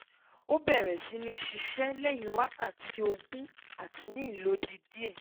o beere si ni sise lehin wakati oogun ati ni ilodi die